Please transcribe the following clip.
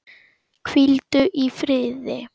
Hvíldu í friði.